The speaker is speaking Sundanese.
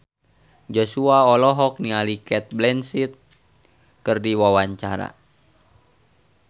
Joshua olohok ningali Cate Blanchett keur diwawancara